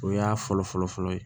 O y'a fɔlɔ fɔlɔfɔlɔ ye